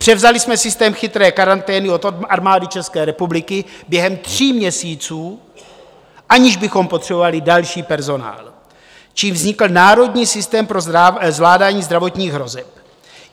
Převzali jsme systém chytré karantény od Armády České republiky během tří měsíců, aniž bychom potřebovali další personál, čímž vznikl Národní systém pro zvládání zdravotních hrozeb.